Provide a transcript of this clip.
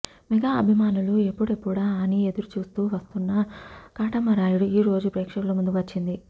mega అభిమానులు ఎప్పుడెప్పుడా అని ఎదురుచూస్తూ వస్తున్న కాటమరాయుడు ఈరోజుప్రేక్షకుల ముందుకు వచ్చింది